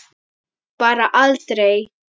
Bara aldrei.